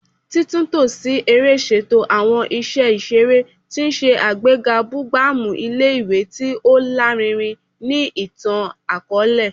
Titunto si ere ṣeto awọn iṣẹ iṣere, ti n ṣe agbega bugbamu ile-iwe ti o larinrin ni itan-akọọlẹ